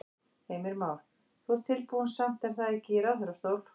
Heimir Már: Þú ert tilbúinn samt er það ekki í ráðherrastól?